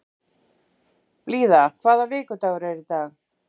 Blíða, hvaða vikudagur er í dag?